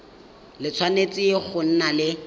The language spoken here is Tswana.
le tshwanetse go nna le